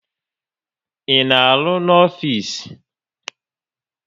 Ị na-arụ no ofisi?